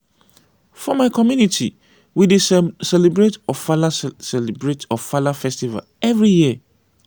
for my community we dey celebrate ofala celebrate ofala festival every year.